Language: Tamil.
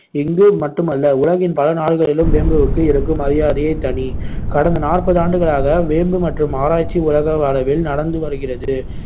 இங்கு மட்டுமல்ல உலகின் பல நாடுகளிலும் வேம்புவுக்கு இருக்கும் மரியாதையே தனி கடந்த நாற்பது ஆண்டுகளாக வேம்பு மற்றும் ஆராய்ச்சி உலக அளவில் நடந்து வருகிறது.